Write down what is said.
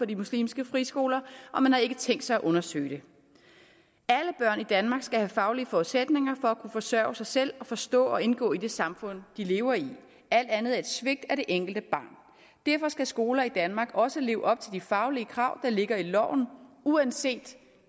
de muslimske friskoler og man har ikke tænkt sig at undersøge det alle børn i danmark skal have faglige forudsætninger for at kunne forsørge sig selv og forstå og indgå i det samfund de lever i alt andet er et svigt af det enkelte barn derfor skal skoler i danmark også leve op til de faglige krav der ligger i loven uanset